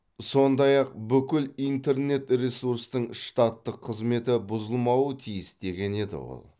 сондай ақ бүкіл интернет ресурстың штаттық қызметі бұзылмауы тиіс деген еді ол